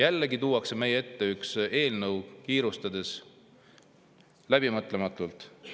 Jällegi tuuakse meie ette üks eelnõu kiirustades ja läbimõtlematult.